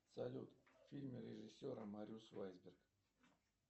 салют фильм режиссера мариус вайберг